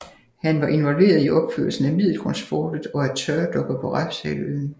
Han var involveret i opførelsen af Middelgrundsfortet og af tørdokker på Refshaleøen